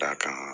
Da kan